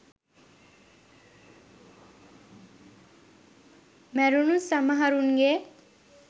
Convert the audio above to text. මැරුණු සමහරුන්ගේ